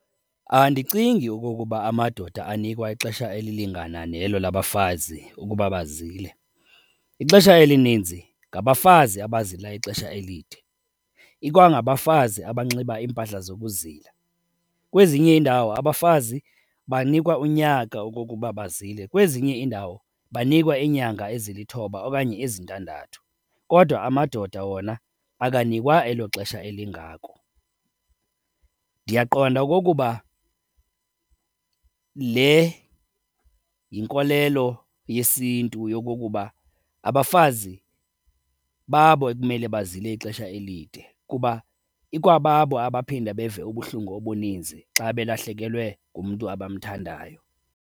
Andicingi okokuba amadoda anikwa ixesha elilingana nelo labafazi ukuba bazile. Ixesha elininzi ngabafazi abazila ixesha elide, ikwangabafazi abanxiba iimpahla zokuzila. Kwezinye iindawo abafazi banikwa unyaka okokuba bazile, kwezinye iindawo banikwa iinyanga ezilithoba okanye ezintandathu kodwa amadoda wona akanikwa elo xesha elingako. Ndiyaqonda okokuba le yinkolelo yesiNtu yokokuba abafazi babo ekumele bazile ixesha elide kuba ikwababo abaphinde beve ubuhlungu obuninzi xa belahlekelwe ngumntu abamthandayo.